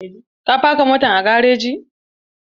Ka faka motan a gareji!